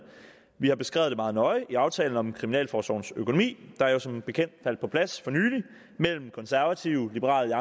vi har beskrevet det meget nøje i aftalen om kriminalforsorgens økonomi der jo som bekendt faldt på plads for nylig mellem konservative liberal